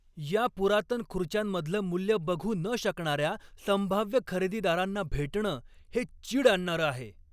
या पुरातन खुर्च्यांमधलं मूल्य बघू न शकणाऱ्या संभाव्य खरेदीदारांना भेटणं हे चीड आणणारं आहे.